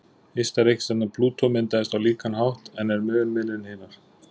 Ysta reikistjarnan, Plútó, myndaðist á líkan hátt en er mun minni en hinar.